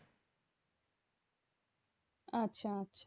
আচ্ছা আচ্ছা